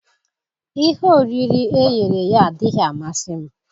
Ihe oriri e ghere eghe adịghị amasị m.